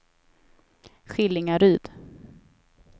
Skillingaryd